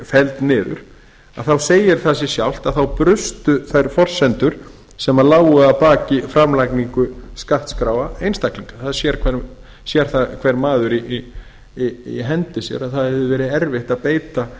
felld niður þá segir það sig sjálft að þá brustu þær forsendur sem lágu að baki framlagningu skattskráa einstaklinga það sér það hver maður í hendi sér aðra hefði verið erfitt að beita